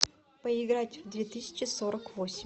поиграть в две тысячи сорок восемь